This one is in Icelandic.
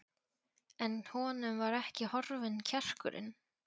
En honum var ekki horfinn kjarkurinn.